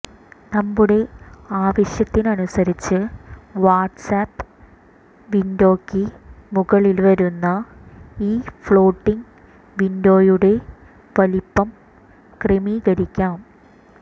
നമ്മുടെ ആവശ്യത്തിനനുസരിച്ച് വാട്സ്ആപ്പ് വിന്ഡോയ്ക്ക് മുകളില് വരുന്ന ഈ ഫ്ലോട്ടിങ് വിന്ഡോയുടെ വലിപ്പം ക്രമീകരിക്കാം